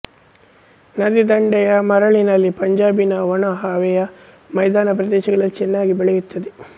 ನದಿದಂಡೆಯ ಮರಳಿನಲ್ಲಿ ಪಂಜಾಬಿನ ಒಣಹವೆಯ ಮೈದಾನ ಪ್ರದೇಶಗಳಲ್ಲಿ ಚೆನ್ನಾಗಿ ಬೆಳೆಯುತ್ತದೆ